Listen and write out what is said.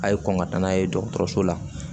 A' ye kɔn ka taa n'a ye dɔgɔtɔrɔso la